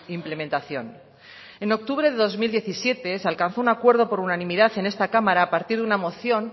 implementación en octubre de dos mil diecisiete se alcanzó un acuerdo por unanimidad en esta cámara a partir de una moción